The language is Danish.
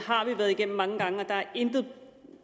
har vi været igennem mange gange og der er intet